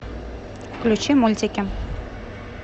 включи мультики